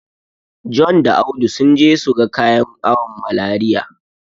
John da Audu sun je su ga kayan awon Malariya.